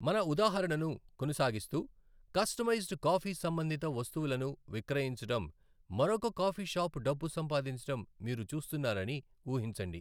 మన ఉదాహరణను కొనసాగిస్తూ, కస్టమైజ్డ్ కాఫీ సంబంధిత వస్తువులను విక్రయించడం మరొక కాఫీ షాప్ డబ్బు సంపాదించడం మీరు చూస్తున్నారని ఊహించండి.